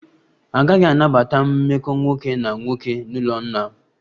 A gaghị anabata mmekọ nwoke na nwoke n'ụlọ nna m